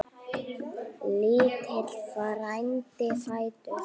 Lítill frændi fæddur.